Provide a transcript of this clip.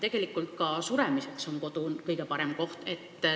Tegelikult on ka suremiseks kodu kõige parem koht.